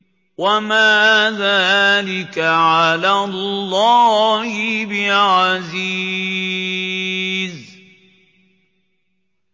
وَمَا ذَٰلِكَ عَلَى اللَّهِ بِعَزِيزٍ